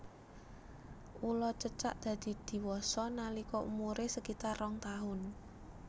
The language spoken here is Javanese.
Ula cecak dadi diwasa nalika umuré sekitar rong taun